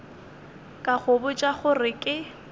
ka go botša gore ke